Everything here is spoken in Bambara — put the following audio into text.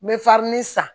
N bɛ san